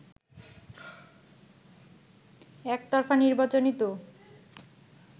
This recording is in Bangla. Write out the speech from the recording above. “একতরফা নির্বাচনই তো